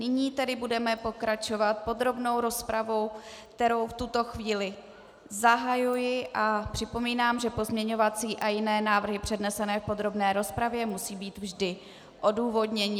Nyní tedy budeme pokračovat podrobnou rozpravou, kterou v tuto chvíli zahajuji, a připomínám, že pozměňovací a jiné návrhy přednesené v podrobné rozpravě musí být vždy odůvodněny.